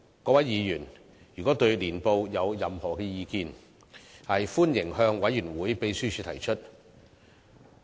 各位議員如對年報有任何意見，歡迎向委員會秘書提出。